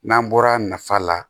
N'an bɔra nafa la